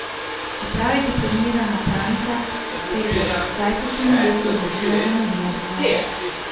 Čeprav je diplomirana pravnica, se je pred dvajsetimi leti odločila za novinarstvo.